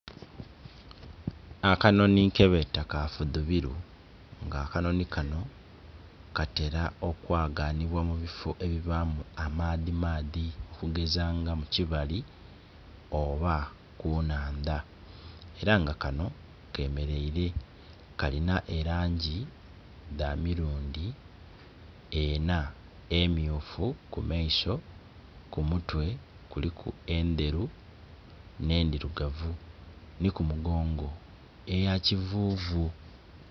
Akanonhi kebeta kafudhubiru nga akanonhi kano katera okwaganhibwa mubiffo ebibamu amaadhi maadhi okugezanga mukibali oba kunhandha era nga kanho kemeraire kalina erangi dhamirundhi enha emmyufu kumaiso, kumutwe kuliku endheru n'ndhirugavu, nikumugongo eyakivuvu.